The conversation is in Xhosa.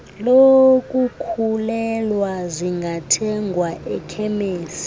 lokukhulelwa zingathengwa ekhemesti